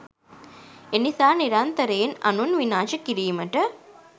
එනිසා නිරන්තරයෙන් අනුන් විනාශ කිරීමට